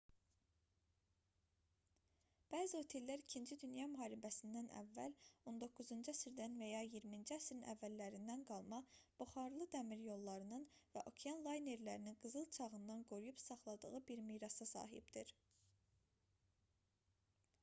bəzi otellər ii dünya müharibəsindən əvvəl 19-cu əsrdən və ya 20-ci əsrin əvvəllərindən qalma buxarlı dəmiryollarının və okean laynerlərinin qızıl çağından qoruyub saxladığı bir mirasa sahibdir